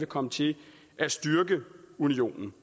komme til at styrke unionen